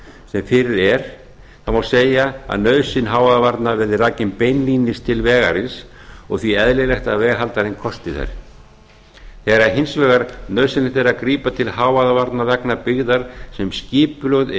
sem fyrir er má segja að nauðsyn hávaðavarna verði rakin beinlínis til vegarins og því eðlilegt að veghaldarinn kosti þær þegar hins vegar nauðsynlegt er að grípa til hávaðavarna vegna byggðar sem skipulögð